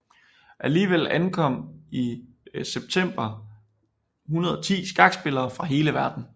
Alligevel ankom i september 110 skakspillere fra hele verden